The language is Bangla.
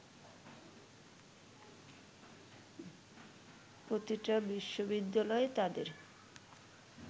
প্রতিটা বিশ্ববিদ্যালয় তাদের